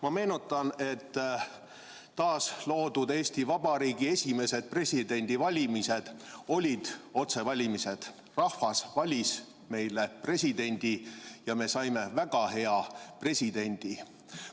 Ma meenutan, et taasloodud Eesti Vabariigi esimesed presidendivalimised olid otsevalimised, rahvas valis meile presidendi ja me saime väga hea presidendi.